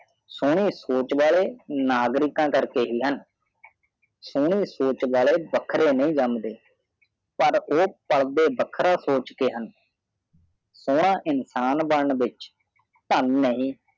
ਸੂਨੀ ਸੋਚ ਵਲੈ ਨਾਗਰੀਕਾ ਕਾਰ ਕੇ ਹਨ ਸੂਨੀ ਸੋਚ ਵਲੈ ਵਖਰੀ ਨਹਿ ਜੰਮਦੇ ਪਾਰ ਓਹ ਪਾਲਦੇ ਵਖਰਾ ਸੂਚਦੇ ਹਨ ਸੂਨਾ ਇਨਸਾਨ ਬਾਨਣ ਵਿਚ ਥਾਨ ਨਹੀਂ